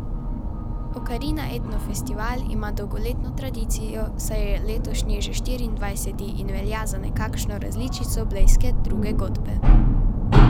Okarina etno festival ima dolgoletno tradicijo, saj je letošnji že štiriindvajseti, in velja za nekakšno različico blejske Druge godbe.